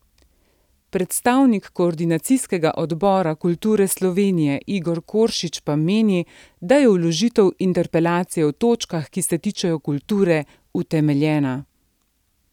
Predstavnik Koordinacijskega odbora kulture Slovenije Igor Koršič pa meni, da je vložitev interpelacije v točkah, ki se tičejo kulture, utemeljena.